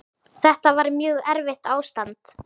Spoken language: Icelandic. Þetta var mjög erfitt ástand.